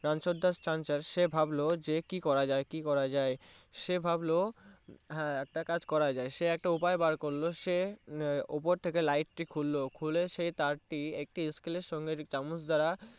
রাঞ্চোর দাস চাঁচার সে ভাবলো কি করা যায় কি করা যায় স ভাবলো হা একটা কাজ করা যায় সে একটা উপায়ে বার করো সে ওপর থেকে Light টি খুললো খুলে সে তার টি একটি এস্কেলের সঙ্গে চামুচ দ্বারা